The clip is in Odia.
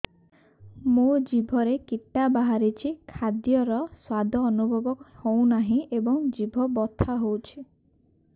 ମୋ ଜିଭରେ କିଟା ବାହାରିଛି ଖାଦ୍ଯୟରେ ସ୍ୱାଦ ଅନୁଭବ ହଉନାହିଁ ଏବଂ ଜିଭ ବଥା ହଉଛି